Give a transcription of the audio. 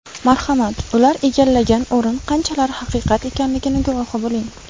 Marhamat, ular egallagan o‘rin qanchalar haqiqat ekanligini guvohi bo‘ling.